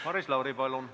Maris Lauri, palun!